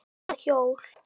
Hvaða hjól?